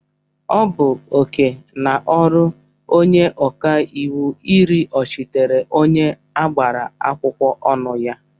Ọ bụ oke na ọrụ onye ọkàiwu iriọchitere onye agbara akwụkwọ ọnụ ya.